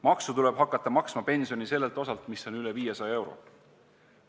Maksu tuleb hakata maksma pensioni sellelt osalt, mis on üle 500 euro.